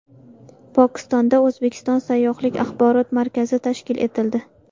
Pokistonda O‘zbekiston sayyohlik axborot markazi tashkil etildi.